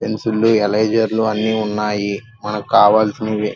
pencil eraser అన్ని ఉన్నాయి మనకి కావాల్సినవే --